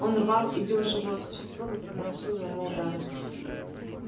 он рвал и бил живое существо которое наносило ему удары